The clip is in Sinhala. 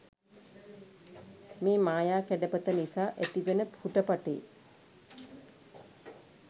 මේ මායා කැඩපත නිසා ඇතිවෙන හුටපටේ